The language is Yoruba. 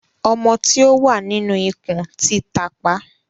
Ọmọ tí o wá nínú ikùn tí tápà.